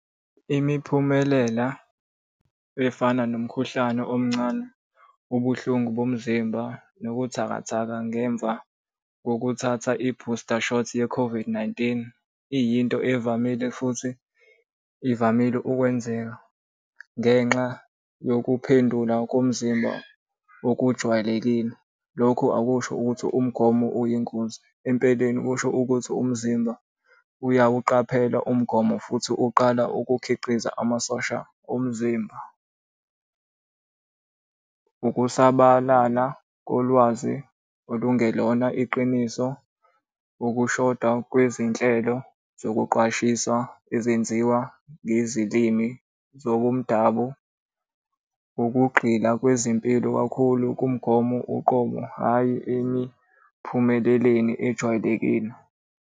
Imiphumelela efana nomkhuhlane omncane, ubuhlungu bomzimba, nobuthakathaka ngemva kokuthatha i-booster shot ye-COVID-19, iyinto evamile futhi ivamile ukwenzeka ngenxa yokuphendula komzimba okujwayelekile. Lokhu akusho ukuthi umgomo uyingozi, empeleni kusho ukuthi umzimba uyawuqaphela umgomo futhi uqala ukukhiqiza amasosha omzimba. Ukusabalala kolwazi olungelona iqiniso, ukushoda kwezinhlelo zokuqwashisa ezenziwa ngezilimi zobomdabu, ukugxila kwezempilo kakhulu kumgomo uqobo hhayi emiphumeleleni ejwayelekile.